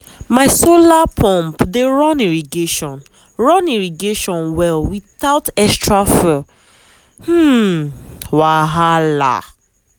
my solar pump dey run irrigation run irrigation well without extra fuel um wahala.